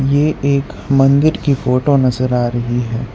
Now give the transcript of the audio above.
ये एक मंदिर की फोटो नजर आ रही है।